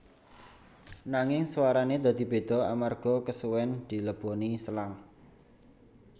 Nanging suarane dadi beda amarga kesuwen dileboni selang